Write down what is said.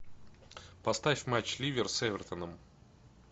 поставь матч ливер с эвертоном